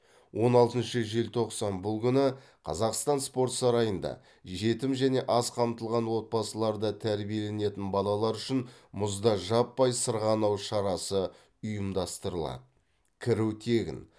он алтыншы желтоқсан бұл күні қазақстан спорт сарайында жетім және аз қамтылған отбасыларда тәрбиеленетін балалар үшін мұзда жаппай сырғанау шарасы ұйымдастырылады кіру тегін